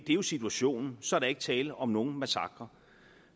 jo situationen så der er ikke tale om nogen massakre